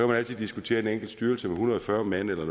man altid diskutere en enkelt styrelse hundrede og fyrre mand eller